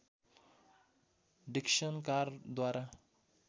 Dixon कारद्वारा